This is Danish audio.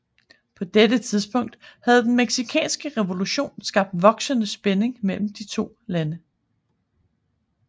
På dette tidspunkt havde den Mexicanske revolution skabt voksende spænding mellem de to lande